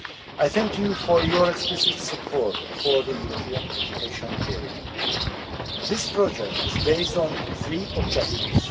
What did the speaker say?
I thank you for your explicit support for the European education area. This project is based on three objectives.